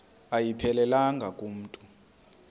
ayiphelelanga ku mntu